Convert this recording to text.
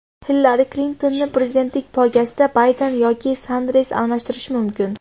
Hillari Klintonni prezidentlik poygasida Bayden yoki Sanders almashtirishi mumkin .